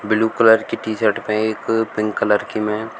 blue colour की T र्शट में एक पिंक कलर की --